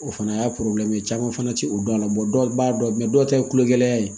O fana y'a caman fana ti o dɔn a la dɔw b'a dɔn dɔw ta ye kulogɛlɛya ye